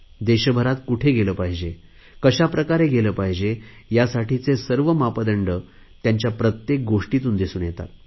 देशभरात कुठे गेले पाहिजे कशाप्रकारे गेले पाहिजे यासाठीचे सर्व मापदंड त्यांच्या प्रत्येक गोष्टीतून दिसून येतात